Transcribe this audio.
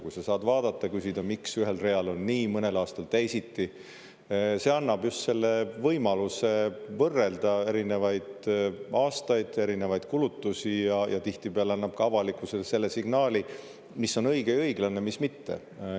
Kui sa saad vaadata ja küsida, miks ühel real on nii, mõnel aastal teisiti – see annab just võimaluse võrrelda erinevaid aastaid, erinevaid kulutusi ja tihtipeale annab ka avalikkusele selle signaali, mis on õige ja õiglane, mis mitte.